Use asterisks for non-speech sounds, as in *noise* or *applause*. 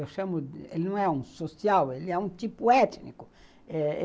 Eu chamo *unintelligible* ele não é um social, ele é um tipo étnico.